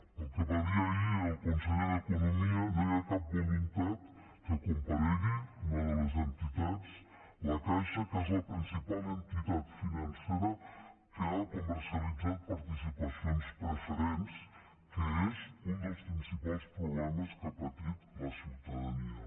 pel que va dir ahir el conseller d’economia no hi ha cap voluntat que comparegui una de les entitats la caixa que és la principal entitat financera que ha comercialitzat participacions preferents que és un dels principals problemes que ha patit la ciutadania